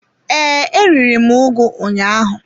Ee, e riri m ugu ụnyaahụ.